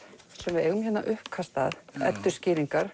sem við eigum hérna uppkast að